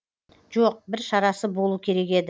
жоқ бір шарасы болу керек еді